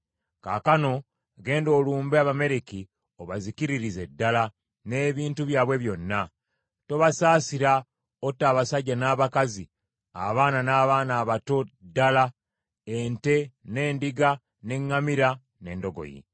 Kaakano genda olumbe Abamaleki obazikiririze ddala, n’ebintu byabwe byonna. Tobasaasira, otta abasajja n’abakazi, abaana n’abato ddala, ente, n’endiga, n’eŋŋamira n’endogoyi.’ ”